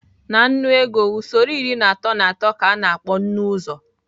Na nnu ego usoro iri atọ na atọ ka a na-akpọ nnụ-uzo.